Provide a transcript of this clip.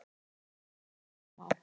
faxið stendur upprétt og eyrun eru smá